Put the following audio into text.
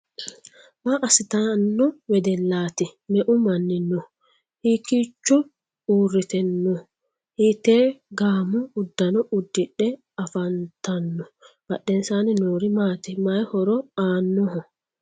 Maa asittano wedelaati? Me"eu manni no? Hiikiicho uurite no? Hiite gaamo udanno udidhe afantano? Badhensaanni noori maati mayi horo aanoho?